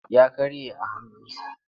Ya karye a hannunsa.